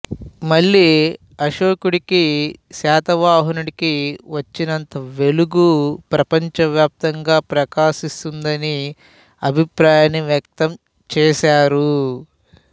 మళ్ళీ అశోకుడికి శాతవాహనుడికి వచ్చినంత వెలుగు ప్రపంచవ్యాప్తంగా ప్రకాశిస్తుందని అభిప్రాయాన్ని వ్యక్తం చేసారు